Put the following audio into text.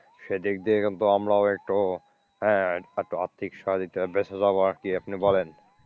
সেদিক দিয়ে কিন্তু আমরাও একটু আহ আর্থিক সহযোগিতায় বেচে যাবো আরকি আপনি বলেন।